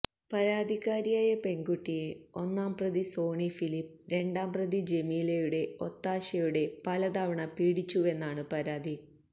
പരാതിക്കാരിയായ പെണ്കുട്ടിയെ ഒന്നാം പ്രതി സോണി ഫിലിപ്പ് രണ്ടാം പ്രതി ജമീലയുടെ ഒത്താശയോടെ പല തവണ പീഡിപ്പിച്ചുവെന്നാണ് പരാതി